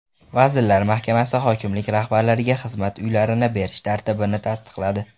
Vazirlar Mahkamasi hokimlik rahbarlariga xizmat uylarini berish tartibini tasdiqladi.